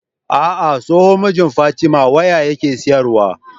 Ah ah tsohon mijin fatima waya yake siyar wa